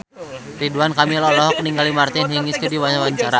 Ridwan Kamil olohok ningali Martina Hingis keur diwawancara